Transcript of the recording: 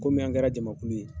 Kɔmi an kɛra jamakulu ye.